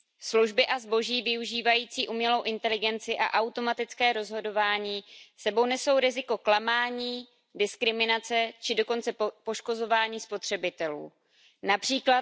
Služby a zboží využívající umělou inteligenci a automatické rozhodování s sebou nesou riziko klamání, diskriminace či dokonce poškozování spotřebitelů, např.